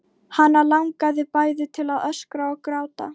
Hana langaði bæði til að öskra og gráta.